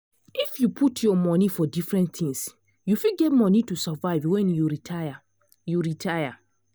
if you put your monie for different things you fit get money to survive when you retire. you retire.